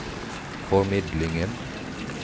formidlingen